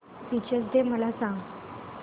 teachers day मला सांग